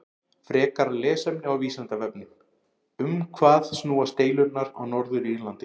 Frekara lesefni á Vísindavefnum: Um hvað snúast deilurnar á Norður-Írlandi?